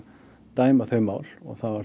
dæma þau mál þá